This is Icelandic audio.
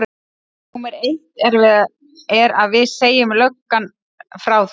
Númer eitt er að við segjum löggan frá þér.